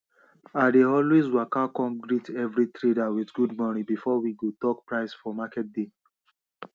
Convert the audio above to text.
i dey always waka come greet every trader with good morning before we go talk price for market day